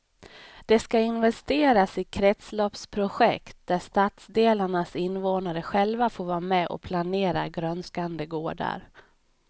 Det ska investeras i kretsloppsprojekt där stadsdelarnas invånare själva får vara med och planera grönskande gårdar.